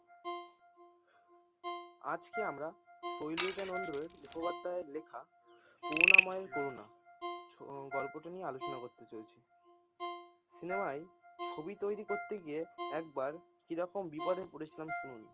আজকে আমরা সাইলেজা নান্দের মুখ্যেপাধ্যায় এর লেখা করুনা ময়ের করুনা হম গল্পটি নিয়ে আলোচনা করতে চলেছি, সিনেমায় ছবি তৈরী করতে গিয়ে একবার কীরকম বিপদে পরে ছিলাম শুনুন।